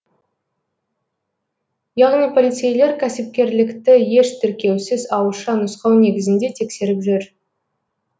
яғни полицейлер кәсіпкерлікті еш тіркеусіз ауызша нұсқау негізінде тексеріп жүр